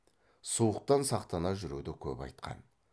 суықтан сақтана жүруді көп айтқан